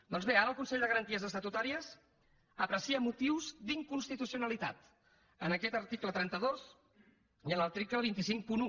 doncs bé ara el consell de garanties estatutàries aprecia motius d’inconstitucionalitat en aquest article trenta dos i en l’article dos cents i cinquanta un